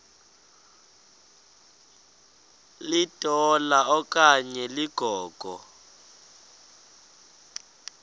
litola okanye ligogo